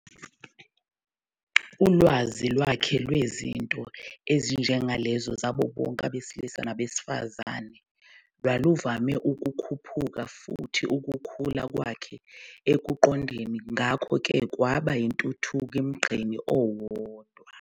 Ulwazi lwakhe lwezinto ezinjengalezo zabo bonke abesilisa nabesifazane-lwaluvame ukukhuphuka, futhi ukukhula kwakhe ekuqondeni ngakho-ke kwaba yintuthuko "emgqeni owodwa".